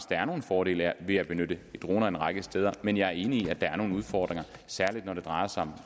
der er nogle fordele ved at benytte droner en række steder men jeg er enig i at der er nogle udfordringer særligt når det drejer sig om